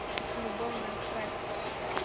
любовная страсть